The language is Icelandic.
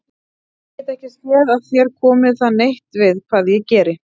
Ég get ekki séð að þér komi það neitt við hvað ég geri.